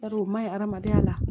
Yar'o ma ɲi hadamadenya la